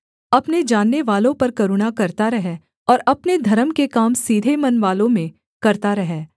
अपने जाननेवालों पर करुणा करता रह और अपने धर्म के काम सीधे मनवालों में करता रह